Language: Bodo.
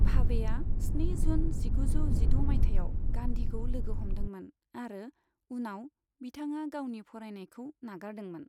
भावेआ स्नि जून जिगुजौ जिद' मायथाइयाव गांधीखौ लोगो हमदोंमोन आरो उनाव बिथाङा गावनि फरायनायखौ नागारदोंमोन।